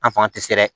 An fanga tɛ se dɛ